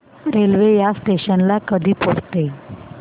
railway या station ला कधी पोहचते